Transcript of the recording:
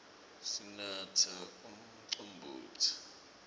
sinatsa umcombotsi